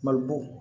Mali bo